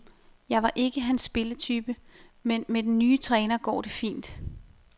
Jeg var ikke hans spillertype, men med den nye træner går det fint.